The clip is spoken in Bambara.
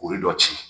O ye dɔ ci